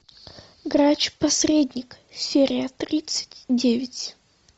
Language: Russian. грач посредник серия тридцать девять